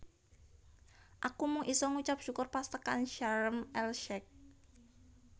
Aku mung iso ngucap syukur pas tekan Sharm El Sheikh